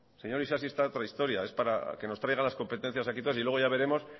señor isasi está a otra historia es para que nos traiga las competencias aquí entonces y luego ya veremos